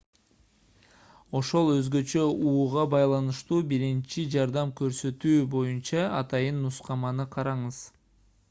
ошол өзгөчө ууга байланыштуу биринчи жардам көрсөтүү боюнча атайын нускаманы караңыз